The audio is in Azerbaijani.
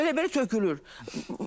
Elə-belə tökülür.